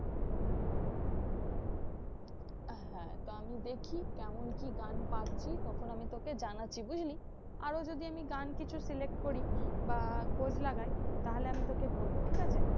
আহ হ্যাঁ তো আমি দেখি কেমন কি গান পাচ্ছি? তখন আমি তোকে জানাচ্ছি বুঝলি? আরো যদি আমি গান কিছু select করি বা খোঁজ লাগাই তাহলে আমি তোকে বলবো ঠিকাছে?